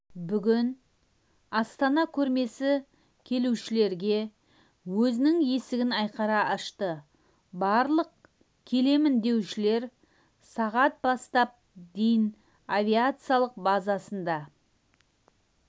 бүгін астана көрмесі келушілерге өзінің есігін айқара ашты барлық келемін деушілер сағат бастап дейін авиациялық базасында